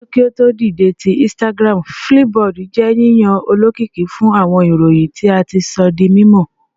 Ṣaaju ki o to dide ti Instagram, Flipboard jẹ yiyan olokiki fun awọn iroyin ti a ti sọ di mimọ